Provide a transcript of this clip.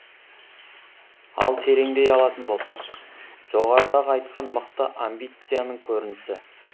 ал тереңдей алатын болсақ жоғарыдағы айтқан мықты амбицияның көрінісі